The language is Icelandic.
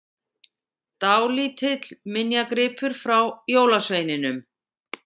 Dálítill minjagripur frá jólasveininum!